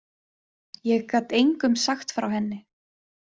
Ég gat engum sagt frá henni.